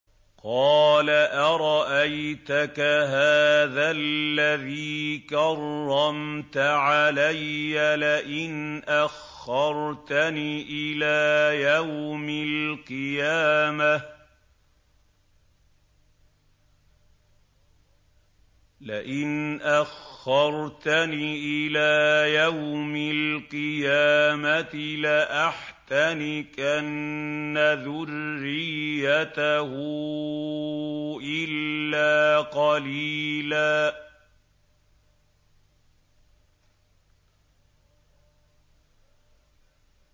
قَالَ أَرَأَيْتَكَ هَٰذَا الَّذِي كَرَّمْتَ عَلَيَّ لَئِنْ أَخَّرْتَنِ إِلَىٰ يَوْمِ الْقِيَامَةِ لَأَحْتَنِكَنَّ ذُرِّيَّتَهُ إِلَّا قَلِيلًا